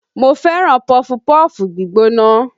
Mo fẹ́ràn pọfupọ́ọ̀fù gbígbóná